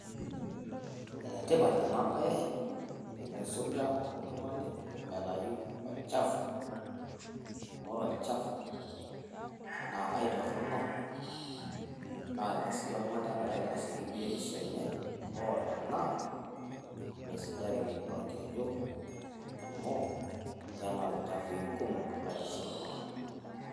Enetipat ena baye tenisuja oltung'ani aitayu olchafu, amu ore olchafu naa aitorrono naa tenisuja oltung'ani egora aitashoki biotisho enye, hoo tenaa meisujareki orkeju amu kenap ilchafui kumok nelo aitaasurr iltung'anak.